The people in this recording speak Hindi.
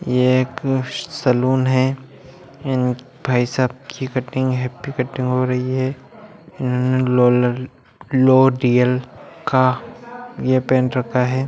ये एक सलून है| इन भाई साहब की कटिंग हैप्पी कटिंग हो रही है| लोल लोरियल का ये पहन रखा है।